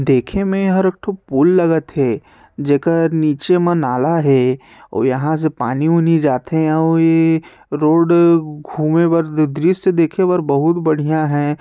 देखे मे ए हर उठ पुल लगत हे जेकर नीचे म नाला है और यहाँ से पानी उनी जाथे अऊ ए रोड घूमे बर दृश्य देखे बर बहुत बढ़िया हे।